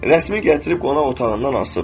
Rəsmi gətirib qonaq otağından asıb.